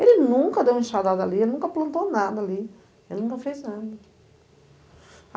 Ele nunca deu uma enxadada ali, ele nunca plantou nada ali, ele nunca fez nada.